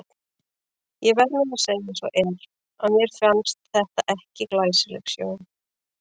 Ég verð nú að segja eins og er, að mér fannst þetta ekki glæsileg sjón.